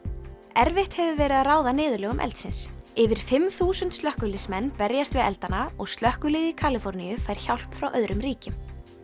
erfitt hefur verið að ráða niðurlögum eldsins yfir fimm þúsund slökkviliðsmenn berjast við eldana og slökkviliðið í Kaliforníu fær hjálp frá öðrum ríkjum